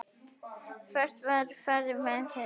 Hvert farið þið með mig?